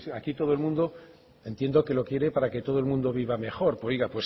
aquí todo el mundo entiendo que lo que quiere para que todo el mundo viva mejor oiga